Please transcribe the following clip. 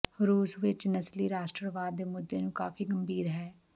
ਰੂਸ ਵਿਚ ਨਸਲੀ ਰਾਸ਼ਟਰਵਾਦ ਦੇ ਮੁੱਦੇ ਨੂੰ ਕਾਫ਼ੀ ਗੰਭੀਰ ਹੈ